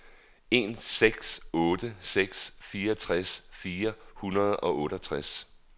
en seks otte seks fireogtres fire hundrede og otteogtres